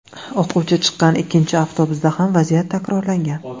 O‘quvchi chiqqan ikkinchi avtobusda ham vaziyat takrorlangan.